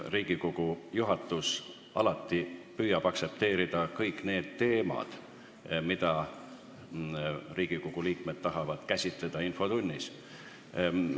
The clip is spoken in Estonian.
Riigikogu juhatus püüab alati aktsepteerida kõiki teemasid, mida Riigikogu liikmed tahavad infotunnis käsitleda.